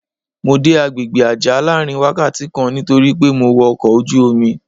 Mo dé àgbègbè Àjá láàárín wákàtí kan nítorí pé mo wọ ọkọ̀ ojú-omi.